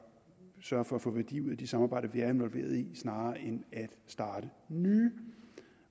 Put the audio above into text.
sørge for at få værdi ud af de samarbejder vi er involveret i snarere end at starte nye